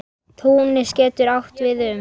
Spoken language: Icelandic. Túnis getur átt við um